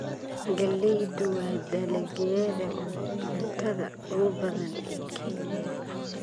Galleydu waa dalagyada cuntada ugu badan ee Kenya.